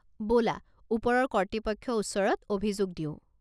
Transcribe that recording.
ব'লা ওপৰৰ কৰ্তৃপক্ষৰ ওচৰত অভিযোগ দিওঁ।